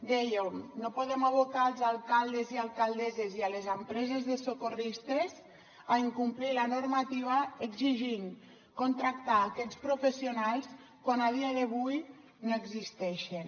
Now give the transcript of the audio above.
dèiem no podem abocar els alcaldes i alcaldesses i les empreses de socorristes a incomplir la normativa exigint contractar aquests professionals quan a dia d’avui no existeixen